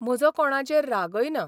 म्हजो कोणाचेर रागय ना.